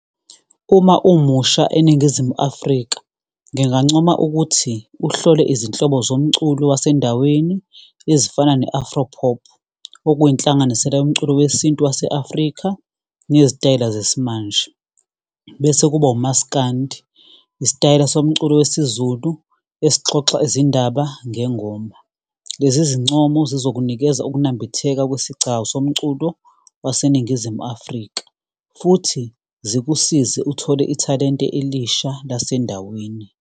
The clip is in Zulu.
Uma umusha eNingizimu Afrika, ngingancoma ukuthi uhlole izinhlobo zomculo wasendaweni ezifana ne-afropop, okuyinhlanganisela yomculo wesintu wase-Afrika nezitayela zesimanje. Bese kuba umaskandi, isitayela somculo wesiZulu esixoxa izindaba ngengoma. Lezi zincomo sizokunikeza ukunambitheka kwesigcawu somculo waseNingizimu Afrika. Futhi zikusize uthole ithalente elisha lasendaweni.